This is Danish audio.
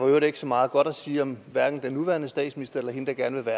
øvrigt ikke så meget godt at sige om hverken den nuværende statsminister eller hende der gerne vil